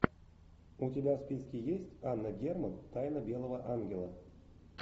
у тебя в списке есть анна герман тайна белого ангела